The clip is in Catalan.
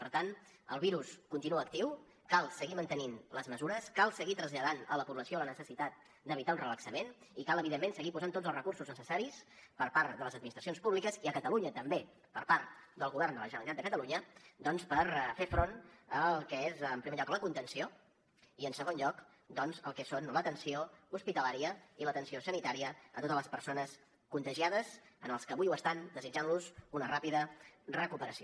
per tant el virus continua actiu cal seguir mantenint les mesures cal seguir traslladant a la població la necessitat d’evitar un relaxament i cal evidentment seguir posant tots els recursos necessaris per part de les administracions públiques i a catalunya també per part del govern de la generalitat de catalunya doncs per fer front al que és en primer lloc la contenció i en segon lloc al que són l’atenció hospitalària i l’atenció sanitària a totes les persones contagiades als que avui ho estan els desitgem una ràpida recuperació